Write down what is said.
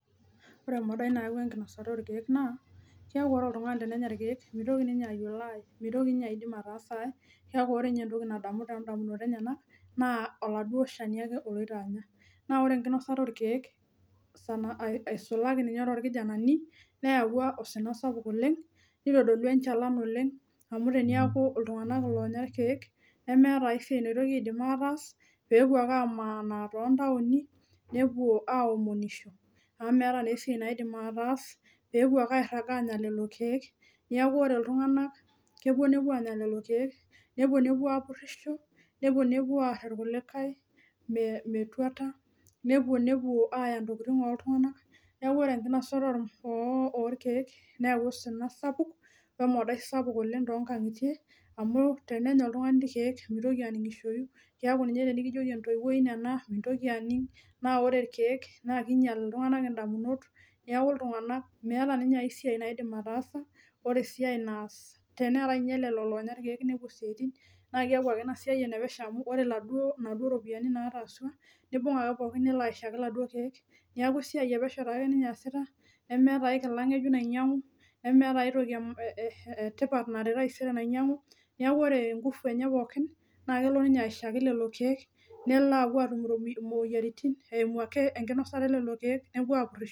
Ore emodai nayaua enkinosata oorkiek naa ore oladuo tung'ani tenenya irkiek naa keeku ore entoki nadamu naa oladuo shani oloito anya naa ore enkinosata orkiek eisulaki ninye torkijanani neeyawua osina sapuk oleng neitodolua enchalan oleng amu teniaku iltung'anak iloonya irkiek nemeeta ai siai naidim ataas peepuo ake amaanaa toontaoni nepuo aaomonisho amu metaa naa esiai naidim ataas peepuo ake airag apuo anya lelo kiek neeku ore iltung'anak kepuo nepuo aanya lelo kiek nepuo nepuo aapurisho nepuo nepuo aar irkulikae metuata nepuo aaya intokitin ooltung'anak ore enkinosata orkiek neyau osina sapuk wemodai toonkang'itie amu tenenya oltung'ani irkiek meitoki aning'ishoyi keeku ninye tenikijioki entoiwuoi ino ena mintoki mintoki aning ore irkiek naa keinyial iltung'anak indamunot neeku iltung'anak meeta esiai naidim atasa ore esiai naas teneetai ninye lelo loonya irkiek naa keeku ake ina siai enepesho amu ore iladuo ropiyiani naataasua neibung ake pookin nelo aishaki ila duo kiek neeku esiai epesho ake ninye eesita nemeeta ae kila nainyiang'u nemeeta ae toki etipat ninyiang'u neeku ore esiai pookin naa kelo ninye aishaki lelo kiek nepuo atum imoyiaritin eimu enkinosata elelo kiek nepuo aapurisho.